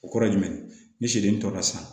O kɔrɔ ye jumɛn ye ni sɛden tora sisan